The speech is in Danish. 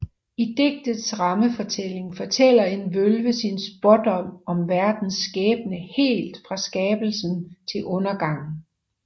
I digtets rammefortælling fortæller en Vølve sin spådom om verdens skæbne helt fra skabelsen til undergangen